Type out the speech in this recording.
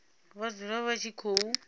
vha dzule vha tshi khou